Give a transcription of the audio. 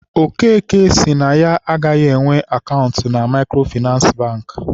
Okeke sị na ya agaghị enwe akaụntụ na Maịkrofịnansị Bankị.